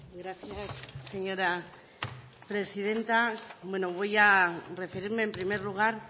gracias señora presidenta bueno voy a referirme en primer lugar